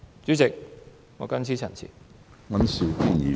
主席，我謹此陳辭。